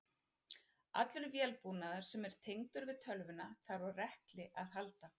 Allur vélbúnaður sem er tengdur við tölvuna þarf á rekli að halda.